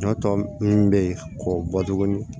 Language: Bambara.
Ɲɔ tɔ mun be yen k'o bɔ tuguni